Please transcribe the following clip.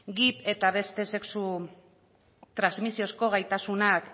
gib eta beste sexu transmisiozko